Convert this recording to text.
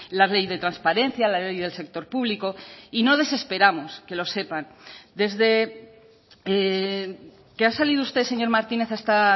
la ley de transparencia la ley del sector público y no desesperamos que lo sepan desde que ha salido usted señor martínez a esta